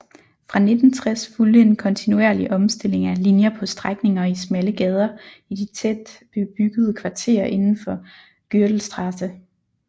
Fra 1960 fulgte en kontinuerlig omstilling af linjer på strækninger i smalle gader i de tæt bebyggede kvarterer indenfor Gürtelstraße